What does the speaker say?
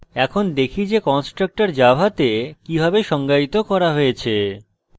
এখন দেখি যে constructor জাভাতে কিভাবে সংজ্ঞায়িত করা হয়েছে